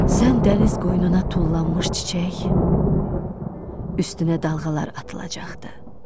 Sən dəniz qoynuna tullanmış çiçək, üstünə dalğalar atılacaqdır.